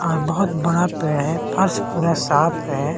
और बहुत बड़ा पेड़ है फर्स पूरा साफ है।